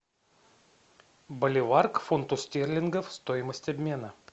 боливар к фунту стерлингов стоимость обмена